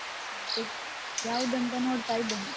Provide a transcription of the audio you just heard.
ಮತ್ತೆ ಯಾವುದಂತ ನೋಡ್ತಾ ಇದ್ದೇನೆ.